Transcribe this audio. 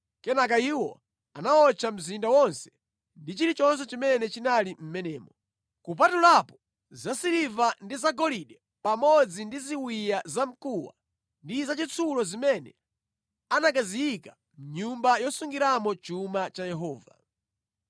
Kenaka iwo anawotcha mzinda wonse ndi chilichonse chimene chinali mʼmenemo, kupatulapo zasiliva ndi zagolide pamodzi ndi ziwiya zamkuwa ndi zachitsulo zimene anakaziyika mʼnyumba yosungiramo chuma cha Yehova.